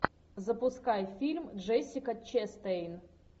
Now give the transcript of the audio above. запускай фильм джессика честейн